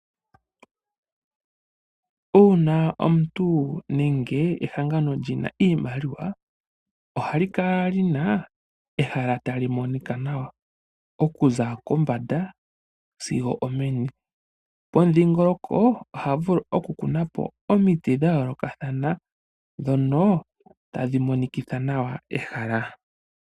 Uuna omuntu nenge ehangano lyina iimaliwa ohali kala lina ehala tali monika nawa okuza kombanda sigo omeni pomudhiingoloko oha vulu oku kunapo omiti dha yoolokathana dhono tadhi monikitha nawa ehala.